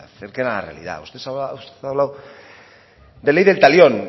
acerquen a la realidad usted ha hablado de ley del talión